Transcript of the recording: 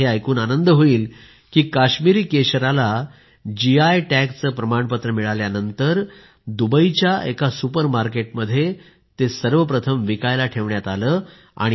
तुम्हाला हे ऐकून आनंद होईल की काश्मीरी केशरला जीआय टॅग चं प्रमाणपत्र मिळाल्यानंतर दुबईच्या एका सुपर मार्केटमध्ये ते सर्वप्रथम विकायला ठेवण्यात आलं